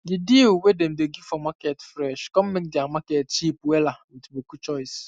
the deal wey dem dey give for market fresh con make dia market cheap wella with boku choice